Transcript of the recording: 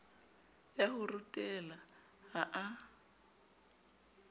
ya ho rutela ha a